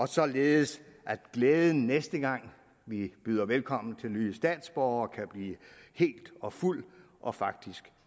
således at glæden næste gang vi byder velkommen til nye statsborgere kan blive hel og fuld og faktisk